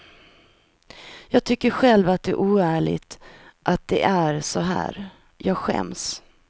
Jag tycker själv att det är oärligt att det är så här, jag skäms.